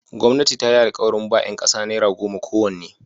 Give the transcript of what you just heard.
Gwamnati ta yi alkawarin ba ‘yan kasa naira goma kowanne.